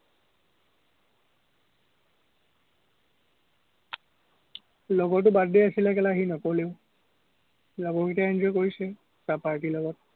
লগৰতোৰ birthday আছিলে সি নগলেই। লগৰকেইটাই enjoy কৰিছে, তাৰ party ৰ লগত।